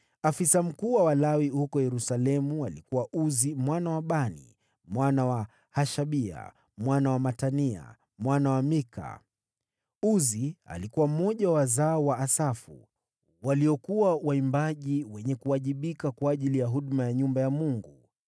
Afisa mkuu wa Walawi huko Yerusalemu alikuwa Uzi mwana wa Bani, mwana wa Hashabia, mwana wa Matania, mwana wa Mika. Uzi alikuwa mmoja wa wazao wa Asafu, waliokuwa waimbaji wenye kuwajibika kwa ajili ya huduma ya nyumba ya Mungu.